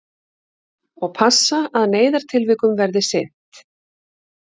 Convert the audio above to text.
Og passa að neyðartilvikum verði sinnt